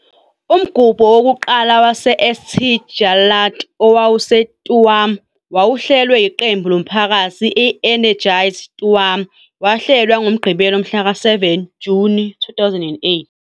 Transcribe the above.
Umgubho wokuqala wase-St Jarlath owawuseTuam, owawuhlelwe yiqembu lomphakathi i-Energize Tuam, wahlelwa ngoMgqibelo mhlaka-7 Juni 2008.